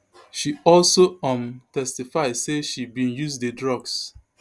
she also um testify say she bin use di drugs